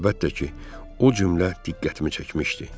Əlbəttə ki, o cümlə diqqətimi çəkmişdi.